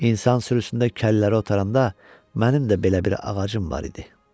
İnsan sürüsündə kəlləri otaranda mənim də belə bir ağacım var idi.